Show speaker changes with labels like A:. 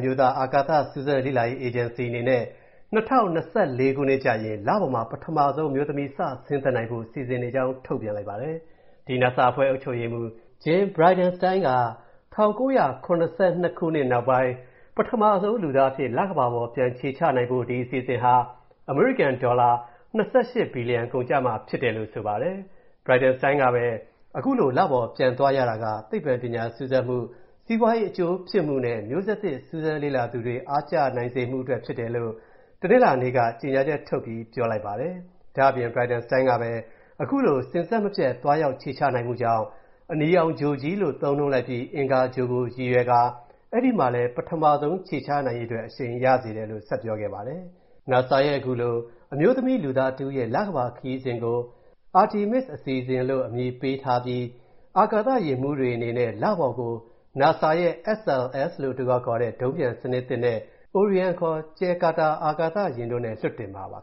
A: မျိုးသားအာကာသစူးစမ်းလေ့လာရေးအေဂျင်စီ အနေနဲ့၂၀၂၄ ခုနှစ်ကျရင် လပေါ်မှာ ပထမဆုံး အမျိုးသမီး စဆင်းသက်နိုင်ဖို့ စီစဉ်နေကြောင်း ထုတ်ပြန်လိုက်ပါတယ်။ ဒီ NASA အဖွဲ့ အုပ်ချုပ်ရေးမူး Jim Bridenstine က ၁၉၇၂ ခုနှစ်နောက်ပိုင်း ပထမဆုံးလူသားအဖြစ် လကမ္ဘာပေါ် ပြန်ခြေချနိုင်ဖို့ ဒီအစီအစဉ်ဟာ အမေရိကန်ဒေါ်လာ ၂၈ ဘီလီယျံကုန်ကျမှာဖြစ်တယ်လို့ ဆိုပါတယ်။ Bridenstine ကပဲ အခုလို လပေါ်ပြန်သွားရတာက သိပ္ပံပညာ စူးစမ်းမူ၊ စီးပွားရေးအကျိုးဖြစ်မူနဲ့ မျိုးဆက်သစ်စူးစမ်းလေ့လာသူတွေအားကျနိုင်မူအတွက်ဖြစ်တယ်လို့ တနင်္လာနေ့က ထုတ်ပြန်ချက်ထဲမှာ ဖော်ပြလိုက်ပါတယ်။ ဒါ့အပြင် Bridenstine ကပဲ၊ အခုလို စဉ်ဆက်မပြတ် သွားရောက်ခြေချနိုင်မူကြောင့် အနီရောင်ဂြိုလ်ကြီးလို့ သုံးနှုန်းပြီး အင်္ဂါဂြိုလ်ကို ရည်ရွယ်ကာ၊ အဲ့ဒီမှာလည်း ပထမဆုံးခြေချနိုင်ရေးအတွက် အရှိန်ရစေတယ်လို့ ဆက်ပြောခဲ့ပါတယ်။ NASA ရဲ့ ခုလို အမျိုးသမီးလူသားတစ်ဦးရဲ့ လကမ္ဘာခရီးစဉ်ကို Artemis အစီအစဉ်လို့ အမည်ပေးထားပြီး၊ အာကာသယာဉ်မူးတွေအနေနဲ့ လပေါ်ကို NASA ရဲ့ SLS လို့အတိုခေါက်ခေါ်တဲ့ ဒုံးပျံစနစ်သစ်နဲ့ Orion (ခေါ်) ကြယ်ကာတာအာကာသယာဉ်တို့နဲ့ လွှတ်တင်မှာပါ